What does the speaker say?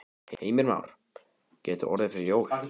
Heimir Már: Gæti orðið fyrir jól?